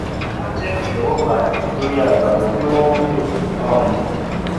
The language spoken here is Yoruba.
wọn jẹ ìtẹwọgbà torí a gbàgbọ pé wọn wúlò um